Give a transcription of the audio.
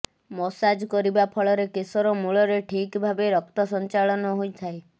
massage କରିବା ଫଳରେ କେଶର ମୂଳରେ ଠିକ୍ ଭାବେ ରକ୍ତସଞ୍ଚାଳନ ହୋଇଥାଏ